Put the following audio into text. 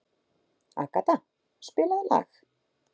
Agata, spilaðu lag.